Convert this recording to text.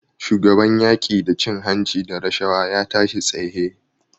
Shugaban yaƙi da cin-hanci da rashawa ya tashi tsaye.